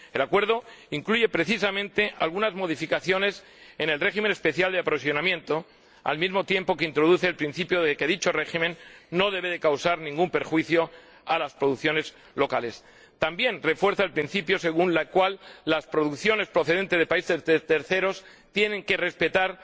El acuerdo incluye, precisamente, algunas modificaciones en el régimen especial de aprovisionamiento, al mismo tiempo que introduce el principio de que dicho régimen no debe causar ningún perjuicio a las producciones locales. También refuerza el principio según el cual las producciones procedentes de terceros países tienen que respetar